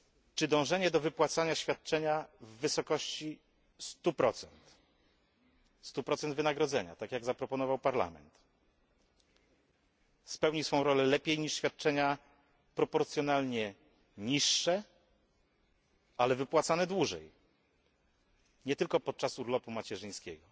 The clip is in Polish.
Czy dążenie do wypłacania świadczenia w wysokości 100 wynagrodzenia, tak jak zaproponował Parlament, spełni swoją rolę lepiej niż świadczenia proporcjonalnie niższe, ale wypłacane dłużej, nie tylko podczas urlopu macierzyńskiego?